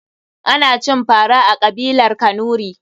Ana cin fara a kabilar kanuri.